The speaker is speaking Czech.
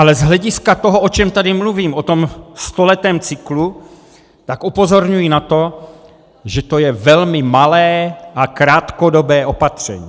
Ale z hlediska toho, o čem tady mluvím, o tom stoletém cyklu, tak upozorňuji na to, že to je velmi malé a krátkodobé opatření.